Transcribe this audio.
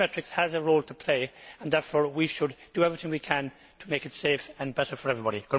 Biometrics has a role to play and therefore we should do everything we can to make it safer and better for everybody.